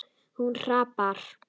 Hún hrapar.